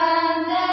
Vande Mataram